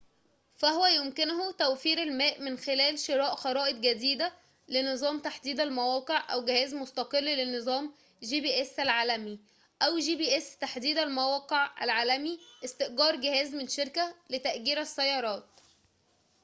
فهو يمكنه توفير المال من خلال شراء خرائط جديدة لنظام تحديد المواقع العالمي gps، أو جهاز مستقل لنظام تحديد المواقع العالمي gps، أو استئجار جهاز من شركة لتأجير السيارات